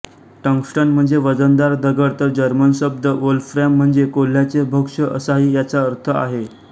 tungsten म्हणजे वजनदार दगड तर जर्मन शब्द वोल्फ्रॅम म्हणजे कोल्ह्याचे भक्ष्य असाही याचा अर्थ आहे